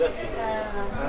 Hə, yaxşıdır.